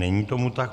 Není tomu tak.